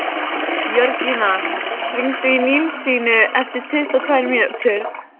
Jörgína, hringdu í Nilsínu eftir tuttugu og tvær mínútur.